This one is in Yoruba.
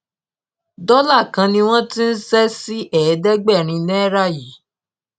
dọlà kan ni wọn ti ń ṣe sí ẹẹdẹgbẹrin náírà yìí